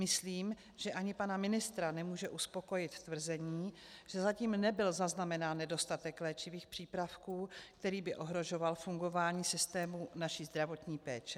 Myslím, že ani pana ministra nemůže uspokojit tvrzení, že zatím nebyl zaznamenán nedostatek léčivých přípravků, který by ohrožoval fungování systému naší zdravotní péče.